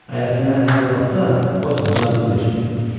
Əgər sənə əl qol atsa, qorxma, cavabını ver.